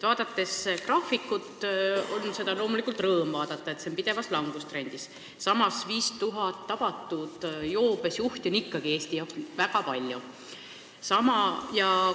Graafikut on loomulikult rõõm vaadata, sest see on pidevas langustrendis, samas on 5000 tabatud joobes juhti ikkagi Eesti jaoks väga palju.